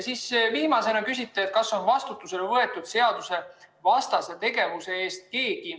Viimasena küsiti, kas keegi on vastutusele võetud seadusevastase tegevuse eest.